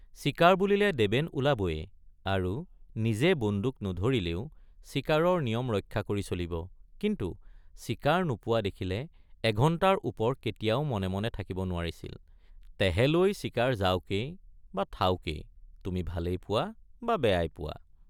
চিকাৰ বুলিলে দেবেন ওলাবয়ে আৰু নিজে বিন্দুক নধৰিলেও চিকাৰৰ নিয়ম ৰক্ষা কৰি চলিব কিন্তু চিকাৰ নোপোৱা দেখিলে এঘণ্টাৰ ওপৰ কেতিয়াও মনে মনে থাকিব নোৱাৰিছিল—তেহেলৈ চিকাৰ যাওকেই বা থাওকেই তুমি ভালেই পোৱা বা বেয়াই পোৱা।